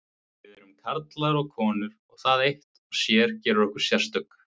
Við erum karlar og konur og það eitt og sér gerir okkur sérstök.